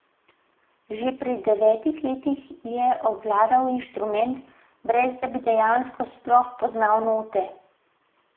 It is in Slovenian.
Že pri devetih letih je obvladal instrument, brez da bi dejansko sploh poznal note.